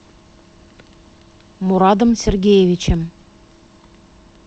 мурадом сергеевичем